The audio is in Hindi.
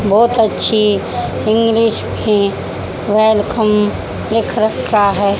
बहोत अच्छी इंग्लिश में वेलकम लिख रखा है।